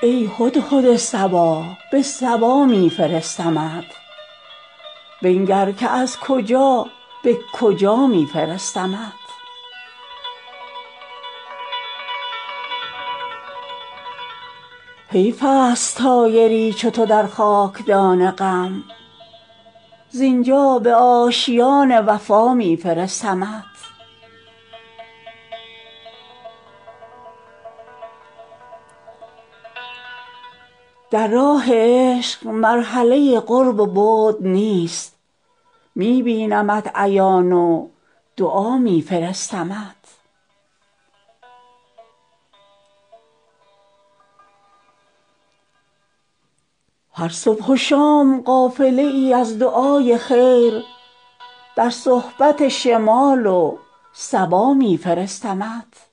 ای هدهد صبا به سبا می فرستمت بنگر که از کجا به کجا می فرستمت حیف است طایری چو تو در خاک دان غم زین جا به آشیان وفا می فرستمت در راه عشق مرحله قرب و بعد نیست می بینمت عیان و دعا می فرستمت هر صبح و شام قافله ای از دعای خیر در صحبت شمال و صبا می فرستمت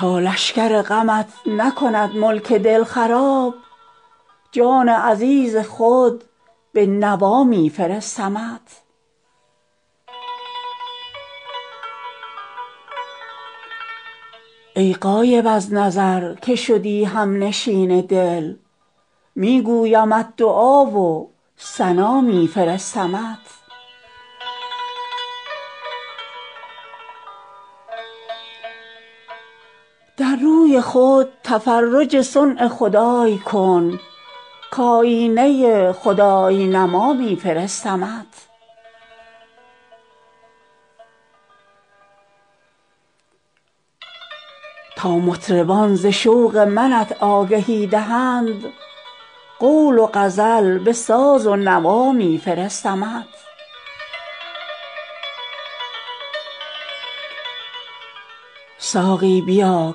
تا لشکر غمت نکند ملک دل خراب جان عزیز خود به نوا می فرستمت ای غایب از نظر که شدی هم نشین دل می گویمت دعا و ثنا می فرستمت در روی خود تفرج صنع خدای کن کآیینه خدای نما می فرستمت تا مطربان ز شوق منت آگهی دهند قول و غزل به ساز و نوا می فرستمت ساقی بیا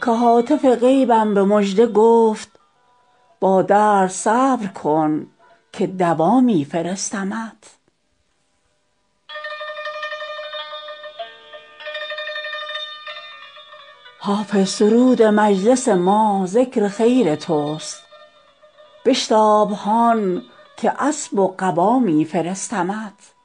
که هاتف غیبم به مژده گفت با درد صبر کن که دوا می فرستمت حافظ سرود مجلس ما ذکر خیر توست بشتاب هان که اسب و قبا می فرستمت